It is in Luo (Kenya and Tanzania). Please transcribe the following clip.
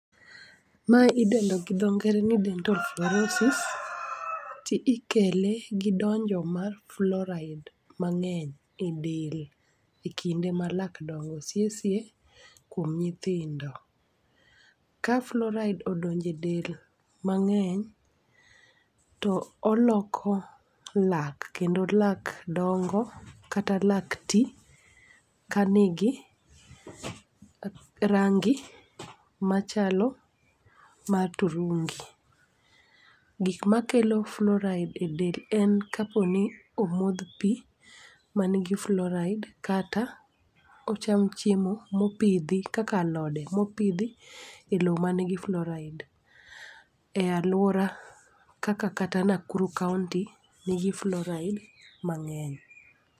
Mae idendo gi dho ngere ni dental flourosis, ti ikele gi donjo mar flouride mang'eny e del e kinde malak dongo, sie sie kuom nyithindo. Ka flouride odonj e del mang'eny, to oloko lak kendo lak dongo, kata lak ti kanigi rangi machalo mar turungi. Gikma kelo flouride e del en kaponi omodh pii manigi flouride kata ocham chiemo mopidhi kaka alode mopidhi e loo manigi flouride e aluora kaka kata Nakuru county nigi fluoride mang'eny.